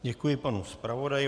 Děkuji panu zpravodaji.